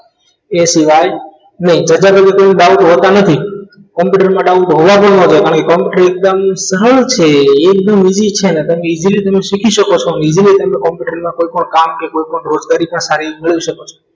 એ સિવાય નહીં બધા જ મિત્રોને doubt હોતા નથી computer માં doubt હોવા ન જોઈએ કારણ કે computer એકદમ સરળ છે એકદમ easy છે કે તમે easily શીખી શકો છો easily તમે computer ના કોઈપણ કામ રોજિંદા study ના કાર્ય કરી શકો છો